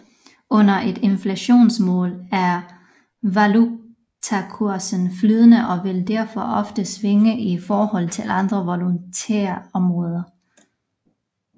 Under et inflationsmål er valutakursen flydende og vil derfor ofte svinge i forhold til andre valutaområder